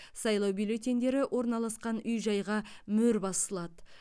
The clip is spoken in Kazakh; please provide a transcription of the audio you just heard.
сайлау бюллетендері орналасқан үй жайға мөр басылады